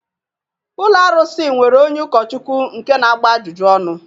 Ụlọ arụsị nwere onye ụkọchukwu nke na-agba ajụjụ ọnụ